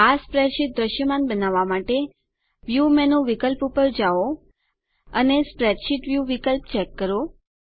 આ સ્પ્રેડશીટ દ્રશ્યમાન બનાવવા માટે વ્યુ મેનુ વિકલ્પ પર જાઓ અને સ્પ્રેડશીટ વ્યુ વિકલ્પ ચેક કરો